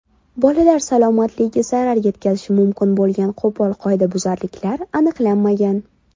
Bolalar salomatligiga zarar yetkazishi mumkin bo‘lgan qo‘pol qoidabuzarliklar aniqlanmagan.